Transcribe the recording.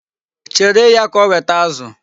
Chere ya ka o weta azụ.